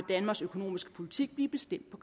danmarks økonomiske politik blive bestemt på